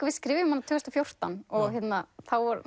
við skrifuðum hana tvö þúsund og fjórtán og þá var